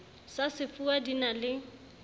sa sefuwa di na le